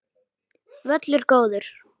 Völlur góður.